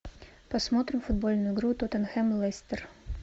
посмотрим футбольную игру тоттенхэм лестер